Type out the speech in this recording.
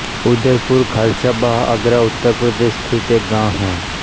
उदयपुर खालसा बाह आगरा उत्तर प्रदेश स्थित एक गाँव है